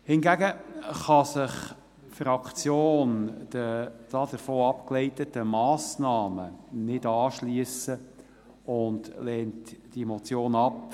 Hingegen kann sich die Fraktion den davon abgeleiteten Massnahmen nicht anschliessen und lehnt diese Motion ab.